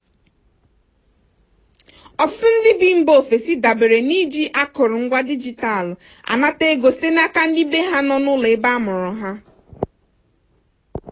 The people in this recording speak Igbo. ọtụtụ ndị bi mba ofesi dabere n'iji akụrụ ngwa digital anata ego site n'aka ndị bee ha nọ n'ụlọ ebe amụrụ ha.